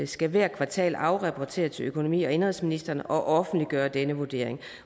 skal hvert kvartal afrapportere til økonomi og indenrigsministeren og offentliggøre denne vurdering